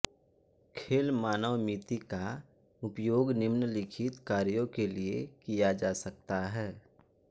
खेल मानवमिति का उपयोग निम्नलिखित कार्यों के लिए किया जा सकता है